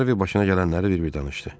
Harvi başına gələnləri bir-bir danışdı.